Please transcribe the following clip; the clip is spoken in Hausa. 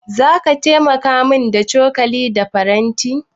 Zaka taimaka min da cokali da faranti?